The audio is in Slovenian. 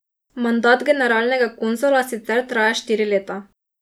Mandat generalnega konzula sicer traja štiri leta.